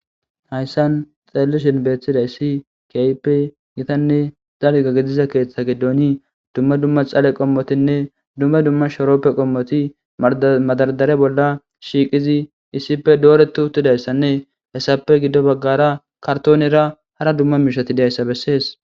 Hayssan xallishinbeeththida issi kaype gitanne zalgagidiza keeththa gidooni dumma dumma xale qommotinne dumma dumma sharoppe qommoti madaradare bolla shiiqizi issipfe dooretu uttidayssanne hessape giddo baggara kartoonera hara dumma miishati diayssa bessees.